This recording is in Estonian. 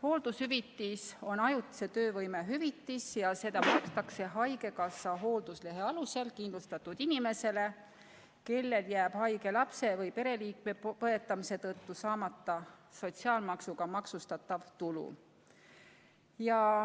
Hooldushüvitis on ajutise töövõimetuse hüvitis ja seda määratakse haigekassa hoolduslehe alusel kindlustatud inimesele, kellel jääb haige lapse või muu pereliikme põetamise tõttu saamata sotsiaalmaksuga maksustatav tulu.